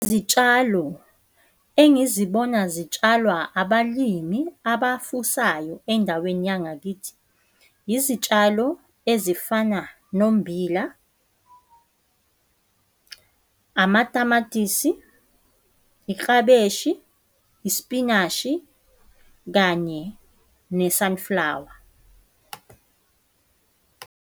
Zitshalo engizibona zitshalwa abalimi abafusayo endaweni yangakithi, izitshalo ezifana nombila, amatamatisi, iklabeshi, ispinashi kanye ne-sunflower.